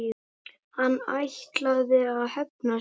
Hann ætlaði að hefna sín!